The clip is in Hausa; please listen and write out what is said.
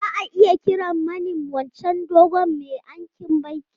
Za a iya kiran mani wancan dogon mai aikin bankin?